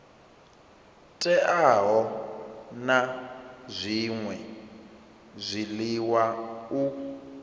teaho na zwṅwe zwiḽiwa u